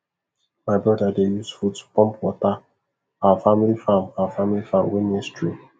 my brother dey use foot pump water our family farm our family farm wey near stream